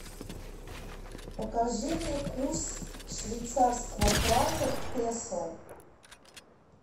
покажи мне курс швейцарского франка к песо